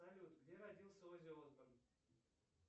салют где родился оззи осборн